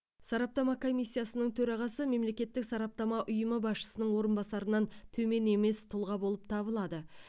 сараптама комиссиясының төрағасы мемлекеттік сараптама ұйымы басшысының орынбасарынан төмен емес тұлға болып табылады